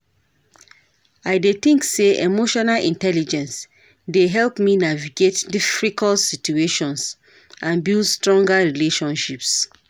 I dey think say emotional intelligence dey help me navigate difficult situations and build stronger relationships.